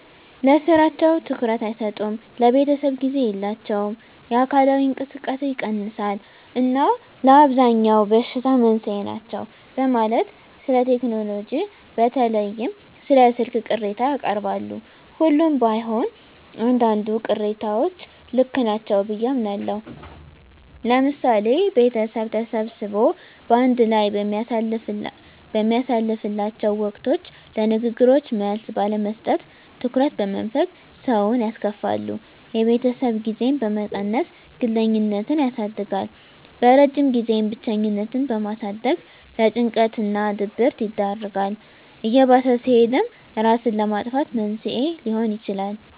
ለስራቸው ትኩረት አይሰጡም፣ ለቤተሰብ ጊዜ የላቸውም፣ የአካላዊ እንቅስቃሴ ይቀንሳል እና ለአብዛኛው በሽታ መንስኤ ናቸው በማለት ስለቴክኖሎጂ በተለይም ስለ ስልክ ቅሬታ ያቀርባሉ። ሁሉም ባይሆን አንዳንድ ቅሬታዎች ልክ ናቸው ብየ አምናለሁ። ለምሳሌ ቤተሰብ ተሰብስቦ በአንድ ላይ በሚያሳልፍላቸው ወቅቶች ለንግግሮች መልስ ባለመስጠት፣ ትኩረት በመንፈግ ሰውን ያስከፋሉ። የቤተሰብ ጊዜን በመቀነስ ግለኝነትን ያሳድጋል። በረጅም ጊዜም ብቸኝነትን በማሳደግ ለጭንቀት እና ድብረት ይዳርጋል። እየባሰ ሲሄድም እራስን ለማጥፋት መንስኤ ሊሆን ይችላል።